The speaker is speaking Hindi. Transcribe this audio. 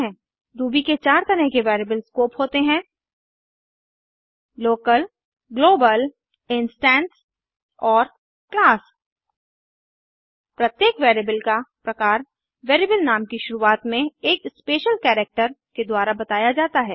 रूबी के चार तरह के वेरिएबल स्कोप होते हैं160 लोकल ग्लोबल इंस्टैंस और क्लास प्रत्येक वेरिएबल का प्रकार वेरिएबल नाम की शुरुआत में एक स्पेशल करैक्टर के द्वारा बताया जाता है